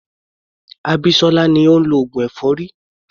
Abisola ni ó ń lọ oògùn èfọ́rí.